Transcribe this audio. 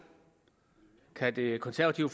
kan det konservative